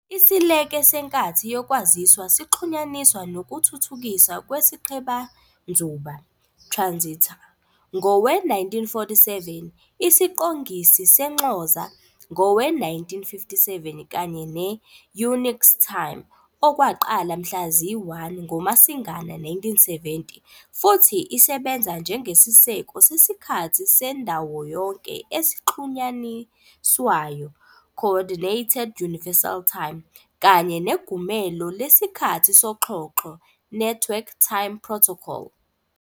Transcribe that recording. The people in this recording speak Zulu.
Isileke seNkathi yokwaziswa sixhunyaniswa nokuthuthukiswa kwesiqhebanzuba ", transistor, ngowe-1947, isiqongisi senxoza ngowe-1957, kanye ne-"Unix time", okwaqala mhla zi-1 ngoMasingana 1970, futhi isebenza njengesiseko sesiKhathi sendawoyonke esixhunyaniswayo ", Coordinated Universal Time, kanye neGumelo lesiKhathi soXhoxho ", Network Time Protocol.